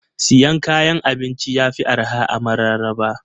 Siyan kayan abinci yafi arha a mararaba.